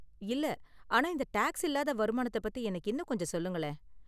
இல்ல, ஆனா இந்த டேக்ஸ் இல்லாத வருமானத்த பத்தி எனக்கு இன்னும் கொஞ்சம் சொல்லுங்களேன்.